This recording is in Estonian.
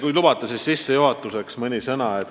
Kui lubate, siis sissejuhatuseks mõni sõna.